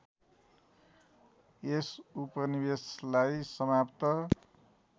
यस उपनिवेशलाई समाप्त